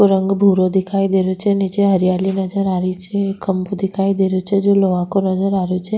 रंग भूरो दिखाई दे रो छे निचे हरियाली नजर आ री छे एक खम्भों दिखाई दे रेहो छे जो लोहा को नजर आ रेहो छे।